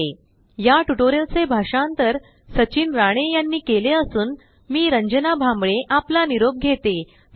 spoken tutorialorgnmeict intro या tutorial चे भाषांतर सचिन राणे यानी केले असून मी रंजना भांबळे आपला निरोप घेते